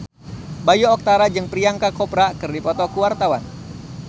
Bayu Octara jeung Priyanka Chopra keur dipoto ku wartawan